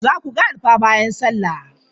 Zaku ga alfa bayan sallah?